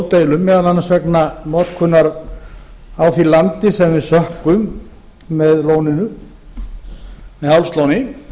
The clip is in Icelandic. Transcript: stórdeilum meðal annars vegna notkunar á því landi sem við sökkvum með hálslóni